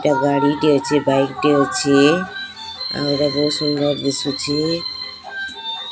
ଏଟା ଗାଡ଼ି ଅଛେ ବାଇକ୍ ଟେ ଅଛି ଆଉ ଏରା ବହୁତ୍ ସୁନ୍ଦର ଦିସୁଛି।